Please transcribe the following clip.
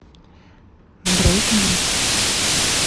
брейкбит